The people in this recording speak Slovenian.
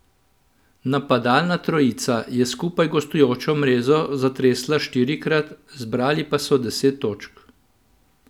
Napadalna trojica je skupaj gostujočo mrežo zatresla štirikrat, zbrali pa so deset točk.